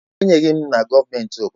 Ekwenyeghi m na gọọmenti obodo m.